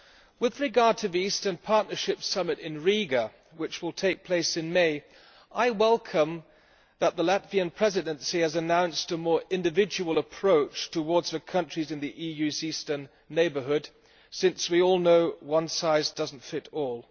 With regard to the Eastern Partnership Summit in Riga, which will take place in May, I welcome the fact that the Latvian Presidency has announced a more individual approach towards the countries in the EU's Eastern Neighbourhood, since we all know that one size does not fit all.